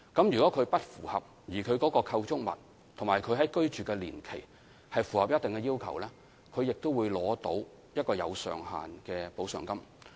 如果他們不符合有關條件，但其構築物和居住年期符合特定要求，他們也會取得一筆設有上限的特惠津貼。